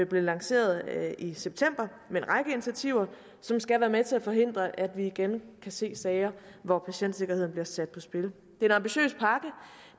blev lanceret i september med en række initiativer som skal være med til at forhindre at vi igen kan se sager hvor patientsikkerheden bliver sat på spil det er